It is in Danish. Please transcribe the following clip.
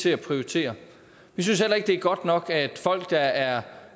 til at prioritere vi synes heller ikke det er godt nok at folk der er